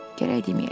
Gərək deməyəydim.